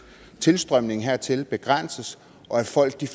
tilstrømningen hertil begrænses og folk